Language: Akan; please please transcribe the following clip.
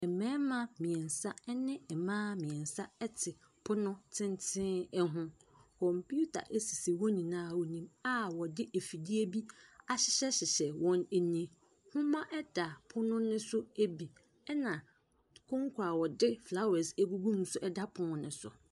Ɛmmɛɛma miensa ɛne Ɛmmaa miensa ɛte pono tenten ɛho. Kɔmputa esisi wɔn nyinaa anim a wɔde afidie bi ahyehyɛ hyehyɛ wɔn ani. Nhoma ɛda pono no so ebi, ɛna konko a wɔde flawɛs egugu mu nso ɛda pono neso.